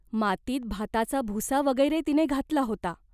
मातीत भाताचा भुसा वगैरे तिने घातला होता.